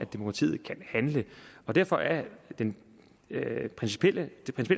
demokratiet kan handle derfor er det principielle